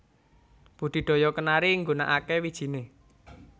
Budidaya kenari nggunakaké wijiné